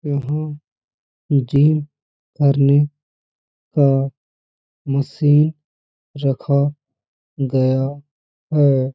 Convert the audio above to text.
यहाँ जिम करने का मशीन रखा गया है |